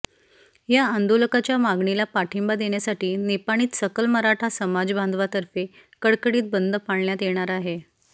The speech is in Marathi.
या आंदोलकांच्या मागणीला पाठिंबा देण्यासाठी निपाणीत सकल मराठा समाज बांधवांतर्फे कडकडीत बंद पाळण्यात येणार आहे